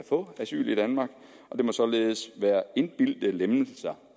få asyl i danmark det må således være indbildte lempelser